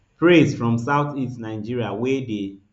praise from southeast nigeria wey dey